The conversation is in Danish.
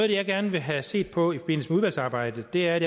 det jeg gerne vil have set på i forbindelse med udvalgsarbejdet er